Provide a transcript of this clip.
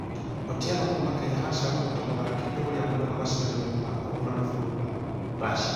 Otieno kuuma kenya aracagorirwo ta mũthakithia ũrĩa mwega mashidano-inĩ ma kũhũrana bũrũri wa russia.